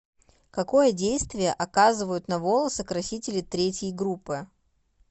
какое действие оказывают на волосы красители третьей группы